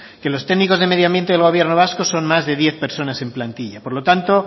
que los técnicos de medioambiente en gobierno vasco son más de diez personas en plantilla por lo tanto